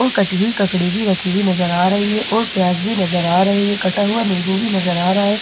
और कटी हुई ककड़ी भी रखी हुई नजर आ रही है और प्याज भी नजर आ रही है कटा हुआ नींबू भी नजर आ रहा है और एक --